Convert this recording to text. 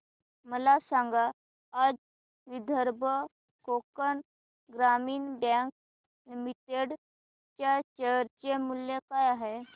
मला सांगा आज विदर्भ कोकण ग्रामीण बँक लिमिटेड च्या शेअर चे मूल्य काय आहे